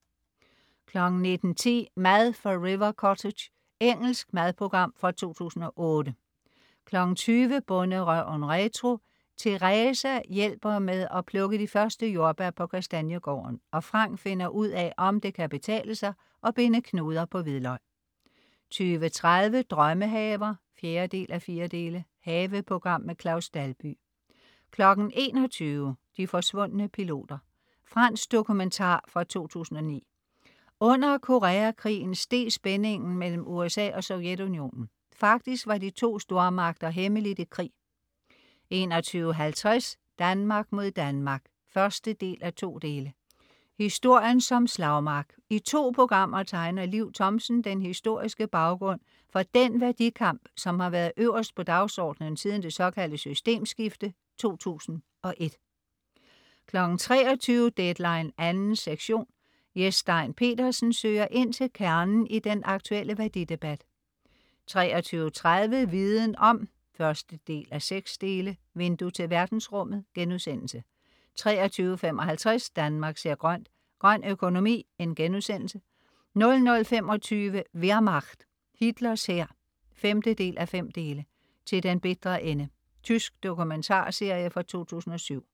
19.10 Mad fra River Cottage. Engelsk madprogram fra 2008 20.00 Bonderøven retro. Theresa hjælper med at plukke de første jordbær på Kastaniegården, og Frank finder ud af om det kan betale sig at binde knuder på hvidløg 20.30 Drømmehaver 4:4. Haveprogram. Claus Dalby 21.00 De forsvundne piloter. Fransk dokumentar fra 2009. Under Koreakrigen steg spændingen mellem USA og Sovjetunionen. Faktisk var de to stormagter hemmeligt i krig 21.50 Danmark mod Danmark 1:2. Historien som slagmark. I to programmer tegner Liv Thomsen den historiske baggrund for den værdikamp, som har været øverst på dagsordenen siden det såkaldte systemskifte 2001 23.00 Deadline 2. sektion. Jes Stein Pedersen søger ind til kernen i den aktuelle værdidebat 23.30 Viden Om 1:6. Vindue til verdensrummet* 23.55 Danmark ser grønt: Grøn økonomi* 00.25 Wehrmacht, Hitlers hær 5:5. "Til den bitre ende". Tysk dokumentarserie fra 2007